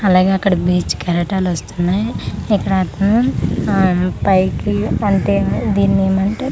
అలాగే అక్కడ బీచ్ కెరటాలు వస్తున్నాయ్ ఇక్కడట్నే హ పైకి అంటే దీనేమంటే--